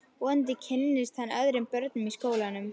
Vonandi kynnist hann öðrum börnum í skólanum.